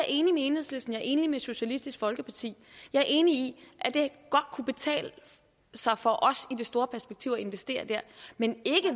enig med enhedslisten jeg er enig med socialistisk folkeparti jeg er enig i at det godt kunne betale sig for os i det store perspektiv at investere der men ikke